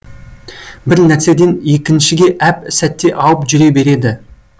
бір нәрседен екіншіге әп сәтте ауып жүре береді